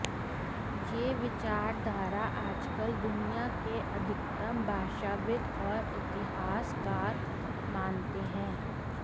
ये विचारधारा आजकल दुनिया के अधिकतम भाषाविद और इतिहासकार मानते हैं